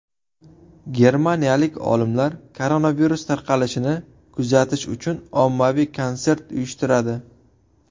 Germaniyalik olimlar koronavirus tarqalishini kuzatish uchun ommaviy konsert uyushtiradi.